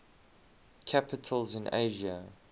capitals in asia